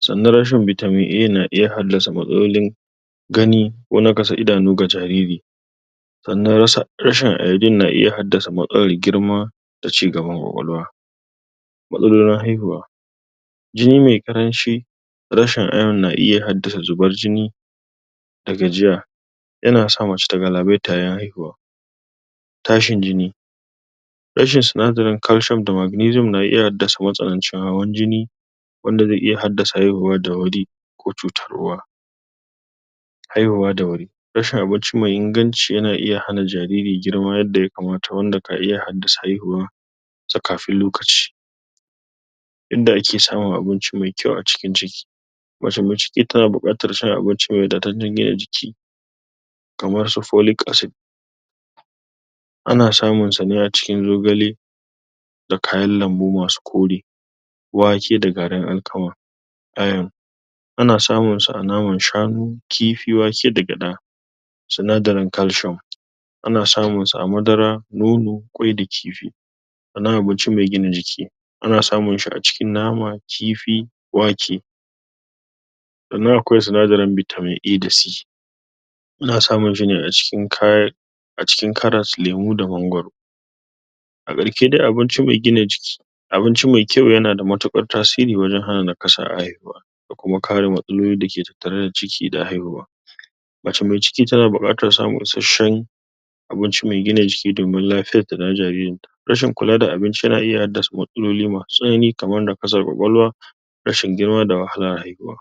Sannan rashin vitamin A ya na iya haddasa matsalolin,? gani ko nakasar idanu ga jariri.? Sannan rashin iodin na iya haddasa matsalar girma. da cigaban kwakwalwa.? Matsalolin haihuwa.? Jini mai ƙaranci.? Rashin ion na iya haddasa zubar jini,? da gajiya,? ya na sa macce ta galabaita yayin haihuwa.? Tashin jini.? Rahin sinadarin calcium da magnesium na iya haddasa matsanancin hawan jini,? wanda zai iya hadda haihuwa da wuri,? ko cutar uwa.? Haihuwa da wuri. Rashin abincin mai inganci yana iya hana jariri girma yanda ya kamata, wanda ka iya haddasa haihuwarsa kafin lokaci.? Inda ake samun abinci mai kyau a cikin ciki.? Macce mai ciki tana buƙatar samun abinci mai wadatattan gina jiki? kamar su folic acid.? Ana samun sa ne a cikin zogale,? da kayan lambu masu kore,? wake da garin alkama.? Iron.? Ana samun sa a naman shanu, kifi, wake, da gyaɗa.? Sinadarin calcium.? Ana samun sa a madara, nono, ƙwai, da kifi.? ma'ana abinci mai gina jiki.? Ana samun shi a cikin nama kifi wake.? Sannan akwai sinadarin vitamin A, da C.? Ana samun shi ne a cikin kayan? a cikin karas lemu da mangoro.? A ƙarshe dai abinci mai gina jiki, abinci mai kyau yanada matuƙar tasiri wajan hana nakasa a haihuwa, da kuma kare matsaloli dake tattare da ciki da haihuwa.? Macce mai ciki tana buƙatan samun isashshen,? abinci mai gina jiki domin lafiyarta da na jaririnta. Rashin kula da abinci yana iya hadda matsaloli masu tsanani kamar nakasan kwakwalwa,? rashin girma da wahalar haihuwa.?